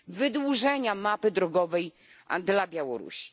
wydłużenia mapy drogowej dla Białorusi.